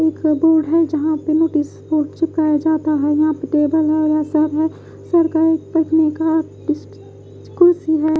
एक बोर्ड है जहाँ पर नोटिस बोर्ड चिपकाए जाता है यहाँ पर टेबल है यह सब है सरकारी तकिया का कुर्सी है।